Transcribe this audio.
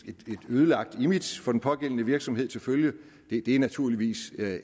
ødelagt image for den pågældende virksomhed til følge det er naturligvis